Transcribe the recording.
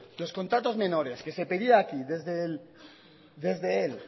los contratos menores que se pedían aquí desde